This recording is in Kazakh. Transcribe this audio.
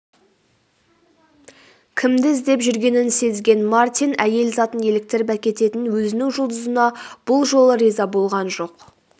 кімді іздеп жүргенін сезген мартин әйел затын еліктіріп әкететін өзінің жұлдызына бұл жолы риза болған жоқ